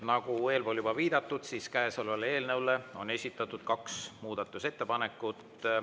Nagu eelpool juba viidatud, siis käesolevale eelnõule on esitatud kaks muudatusettepanekut.